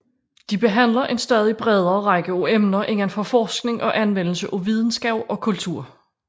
De behandler en stadig bredere række af emner inden for forskning og anvendelse af videnskab og kultur